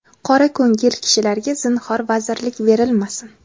qora ko‘ngil kishilarga zinhor vazirlik (lavozimi) berilmasin.